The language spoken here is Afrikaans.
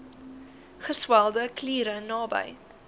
geswelde kliere naby